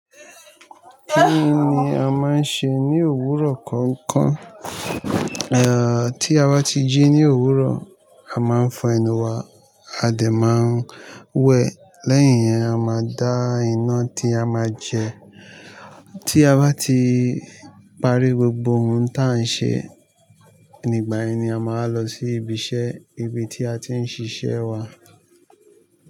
Kí ni a máa ń ṣe ní òwúrọ̀ kọ̀ọ̀kan? Tí a bá ti jí ní òwúrọ̀, a máa ń fọ eyi wa, a dẹ máa ń wẹ̀, lẹ́yìn yẹn a máa dá iná tí a máa jẹ. Tí a bá ti parí gbogbo ohun tí à ń ṣe, nígbà yẹn ni a máa lọ sí ibi iṣẹ́, ibi tí a ti ń ṣiṣẹ́ wa.